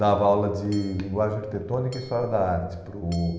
Dava aula de linguagem arquitetônica e história da arte para o...